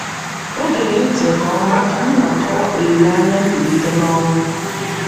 O gere ntị nke ọma ka m na - akọwa olileanya mbilite n’ọnwụ.